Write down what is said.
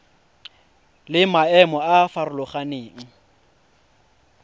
le maemo a a farologaneng